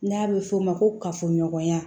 N'a bɛ f'o ma ko kafoɲɔgɔnya